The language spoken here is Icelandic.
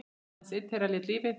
Aðeins einn þeirra lét lífið.